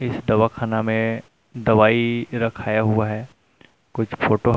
इस दवाखाना में दवाई रखाया हुआ है कुछ फोटो --